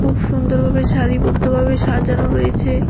খুব সুন্দর ভাবে সারিবদ্ধ ভাবে সাজানো রয়েছে।